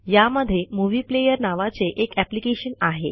यामधे movie player नावाचे एक एप्लिकेशन आहे